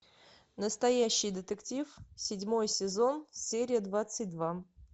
настоящий детектив седьмой сезон серия двадцать два